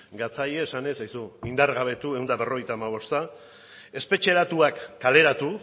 gatzaizkie esanez aizu indargabetu ehun eta berrogeita hamabosta espetxeratuak kaleratu